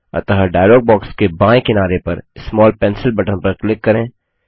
अतः dialog box के बायें किनारे पर स्मॉल पेंसिल बटन पर क्लिक करें